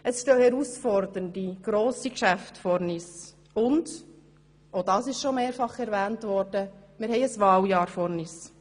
Es stehen herausfordernde, grosse Geschäfte vor uns, und – auch das ist bereits erwähnt worden – wir haben ein Wahljahr vor uns.